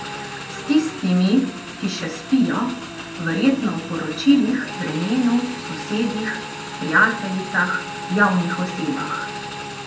S tistimi, ki še spijo, verjetno o poročilih, vremenu, sosedih, prijateljicah, javnih osebah.